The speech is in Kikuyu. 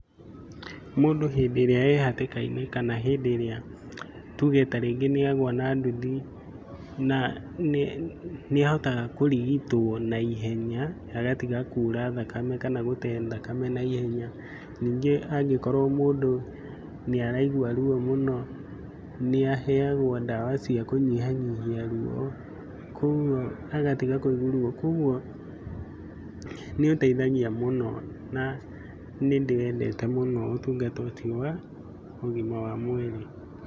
Mũndũ hĩndĩ ĩrĩa e hatĩka-inĩ kana hĩndĩ ĩrĩa, tuge ta rĩngĩ nĩagũa na nduthi, na nĩ ahotaga kũrigitwo na ihenya, agatiga kura thakame kana gũte thakame na ihenya. Ningĩ angĩkorwo mũndũ nĩ araigua ruo mũno, nĩ aheagwa ndawa cia kũnyihanyihia ruo, koguo agatiga kũigua ruo. Koguo nĩũteithagia mũno na nĩndĩwendete mũno ũtungata ũcio wa ũgima wa mwĩrĩ.